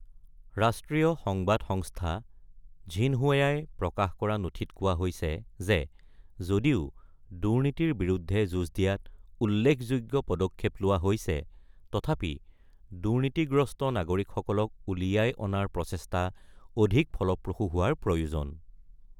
ৰাষ্ট্ৰীয় সংবাদ সংস্থা ঝিনহুয়াই প্ৰকাশ কৰা নথিত কোৱা হৈছে যে যদিও দুৰ্নীতিৰ বিৰুদ্ধে যুঁজ দিয়াত "উল্লেখযোগ্য" পদক্ষেপ লোৱা হৈছে, তথাপি দুৰ্নীতিগ্ৰস্ত নাগৰিকসকলক উলিয়াই অনাৰ প্ৰচেষ্টা অধিক ফলপ্ৰসূ হোৱাৰ প্ৰয়োজন।